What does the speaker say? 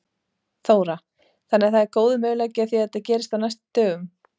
Þóra: Þannig að það er góður möguleiki á því að það gerist á næstu dögum?